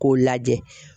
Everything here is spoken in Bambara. K'o lajɛ